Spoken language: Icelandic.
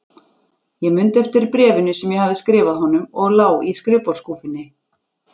Ég mundi eftir bréfinu sem ég hafði skrifað honum og lá í skrifborðsskúffunni.